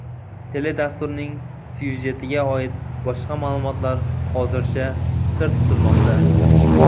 Teledasturning syujetiga oid boshqa ma’lumotlar hozircha sir tutilmoqda.